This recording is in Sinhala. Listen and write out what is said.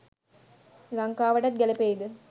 ලංකාවටත් ගැළපෙයිද?